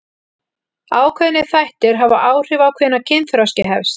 Ákveðnir þættir hafa áhrif á hvenær kynþroski hefst.